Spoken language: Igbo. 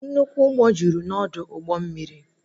Nnukwu ụgbọ jụrụ n'ọdụ ụgbọ mmiri